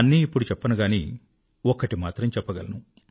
అన్నీ ఇప్పుడు చెప్పను గానీ ఒక్కటి మాత్రం చెప్పగలను